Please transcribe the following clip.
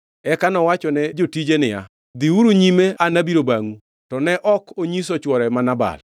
Eka nowachone jotije niya, “Dhiuru nyime an abiro bangʼu.” To ne ok onyiso chwore ma Nabal.